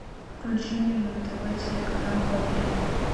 включи мне на тв телеканал о три